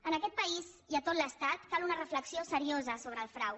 en aquest país i a tot l’estat cal una reflexió seriosa sobre el frau